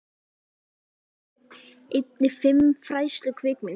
Eftir hann lægju einnig fimm fræðslukvikmyndir.